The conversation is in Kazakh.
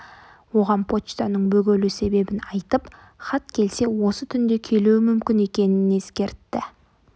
оған почтаның бөгелу себебін айтып хат келсе осы түнде келуі мүмкін екенін ескертті